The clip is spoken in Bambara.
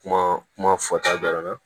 Kuma kuma fɔta dɔrɔn na